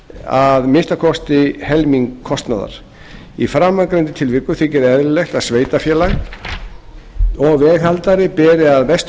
að minnsta kosti helming kostnaðar í framangreindum tilvikum þykir eðlilegt að sveitarfélag og veghaldari beri að mestu